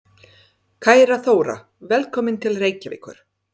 Kæra Þóra. Velkomin til Reykjavíkur.